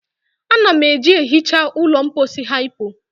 Ana m eji ehicha ụlọ mposi hypo.